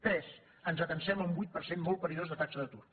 tres ens atansem a un vuit per cent molt perillós de taxa d’atur